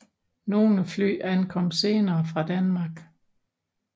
Nogle fly ankom senere fra Danmark